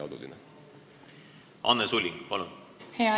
Anne Sulling, palun!